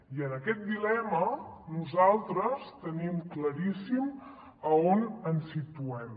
i en aquest dilema nosaltres tenim claríssim on ens situem